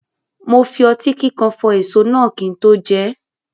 Mo fi ọtí kíkan fọ èso náà kí n tó jẹ ẹ́.